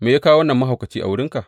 Me ya kawo wannan mahaukaci a wurinka?